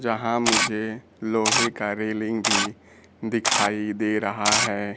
जहाँ मुझे लोहे का रेलिंग भी दिखाई दे रहा है।